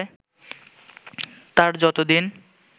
তার যতদিন